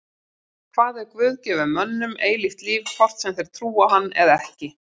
Hvað ef Guð gefur mönnum eilíft líf hvort sem þeir trúa á hann eða ekki?